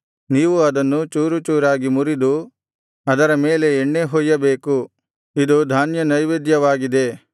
ನೀವು ಅದನ್ನು ಚೂರುಚೂರಾಗಿ ಮುರಿದು ಅದರ ಮೇಲೆ ಎಣ್ಣೆ ಹೊಯ್ಯಬೇಕು ಇದು ಧಾನ್ಯನೈವೇದ್ಯವಾಗಿದೆ